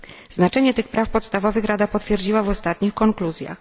Znaczenie tych praw podstawowych Rada potwierdziła w ostatnich konkluzjach.